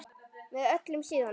Með öllum síðunum?